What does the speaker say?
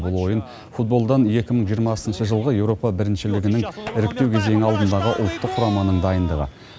бұл ойын футболдан екі мың жиырмасыншы жылғы еуропа біріншілігінің іріктеу кезеңі алдындағы ұлттық құраманың дайындығы